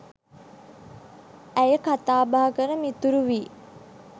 ඇය කතාබහ කර මිතුරු වී